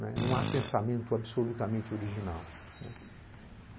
Né. Não há pensamento absolutamente original, né.